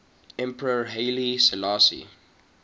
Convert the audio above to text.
emperor haile selassie